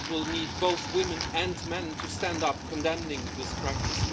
We will need both women and men to stand up condemning this practice.